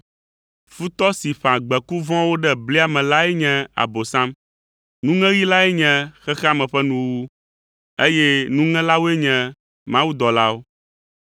Futɔ si ƒã gbeku vɔ̃wo ɖe blia me lae nye Abosam. Nuŋeɣi lae nye xexea me ƒe nuwuwu, eye nuŋelawoe nye mawudɔlawo.